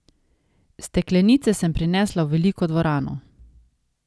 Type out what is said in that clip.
Steklenice sem prinesla v veliko dvorano.